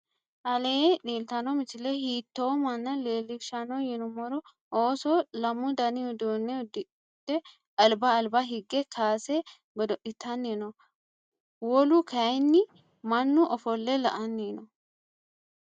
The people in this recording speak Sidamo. alleni leltano misile hitto mana lilishano yinumoro. ooso laamu danni uduunne uddidhe alba alba hige kase goodo'litanni noo. woolu kayini maanu offole la"ani noo.